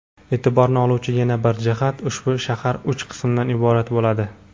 E’tiborni oluvchi yana bir jihat – ushbu shahar uch qismdan iborat bo‘ladi.